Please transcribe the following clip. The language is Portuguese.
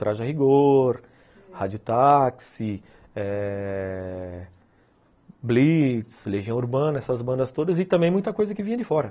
Traja Rigor, Rádio Táxi, eh... Blitz, Legião Urbana, essas bandas todas e também muita coisa que vinha de fora.